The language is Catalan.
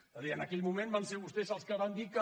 és a dir en aquell moment van ser vostès els que van dir que